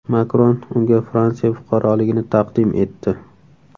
Makron unga Fransiya fuqaroligini taqdim etdi .